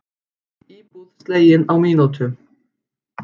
Íbúð slegin á mínútu